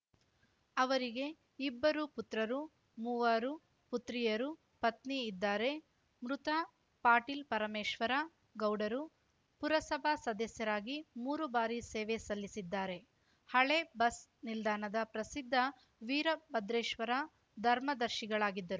ಅವರಿಗೆ ಇಬ್ಬರು ಪುತ್ರರು ಮೂವರು ಪುತ್ರಿಯರು ಪತ್ನಿ ಇದ್ದಾರೆ ಮೃತ ಪಾಟೀಲ್‌ ಪರಮೇಶ್ವರ ಗೌಡರು ಪುರಸಭಾ ಸದಸ್ಯರಾಗಿ ಮೂರು ಬಾರಿ ಸೇವೆ ಸಲ್ಲಿಸಿದ್ದಾರೆ ಹಳೆ ಬಸ್‌ ನಿಲ್ದಾಣದ ಪ್ರಸಿದ್ದ ವೀರಭದ್ರೇಶ್ವರ ದರ್ಮದರ್ಶಿಗಳಾಗಿದ್ದರು